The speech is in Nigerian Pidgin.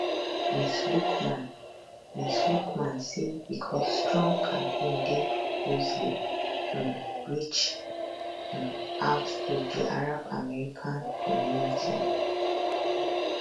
ms luqman ms luqman say becos trump campaign dey purposely um reach um out to di arab american community